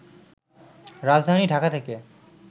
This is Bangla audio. রাজধানী ঢাকা থেকে